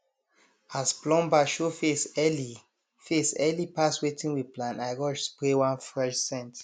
as plumber show face early face early pass wetin we plan i rush spray one fresh scent